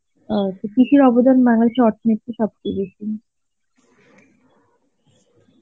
অ, কৃষির অবদান বাংলাদেশের অর্থনীতির সবচেয়ে বেশি.